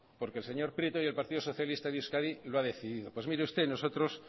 porque el señor prieto y el partido socialista en euskadi lo ha decidido pues mire usted nosotros